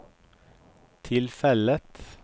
tilfellet